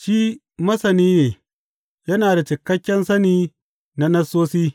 Shi masani ne, yana da cikakken sani na Nassosi.